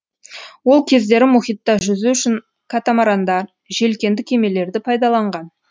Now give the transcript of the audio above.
ол кездері мұхитта жүзу үшін катамарандар желкенді кемелерді пайдаланған